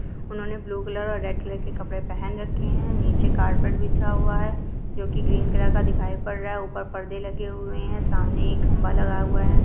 उन्होंने blue colour और red colour के कपड़े पहेन रखे है नीचे कार्पेट बिछा हुआ है जोकि ग्रीन कलर का दिखाई पद रहा है ऊपर पर्दे लगे हुए हैसामने खंबा लगा हुआ है।